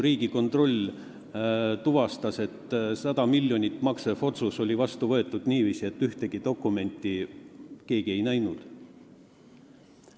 Riigikontroll tuvastas, et 100 miljonit maksev otsus oli vastu võetud niiviisi, et ühtegi dokumenti ei olnud keegi näinud.